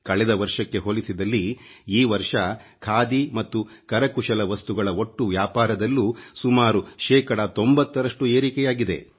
ಕಳೆದ ವರ್ಷಕ್ಕೆ ಹೋಲಿಸಿದಲ್ಲಿ ಈ ವರ್ಷ ಖಾದಿ ಮತ್ತು ಕರಕುಶಲ ವಸ್ತುಗಳ ಒಟ್ಟು ವ್ಯಾಪಾರದಲ್ಲೂ ಸುಮಾರು ಶೇಕಡಾ 90ರಷ್ಟು ಏರಿಕೆಯಾಗಿದೆ